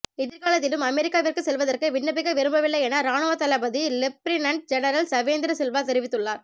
எதிர்காலத்திலும் அமெரிக்காவிற்கு செல்வதற்கு விண்ணப்பிக்க விரும்பவில்லையென இராணுவத்தளபதி லெப்ரினன்ட் ஜெனரல் சவேந்திர சில்வா தெரிவித்துள்ளார்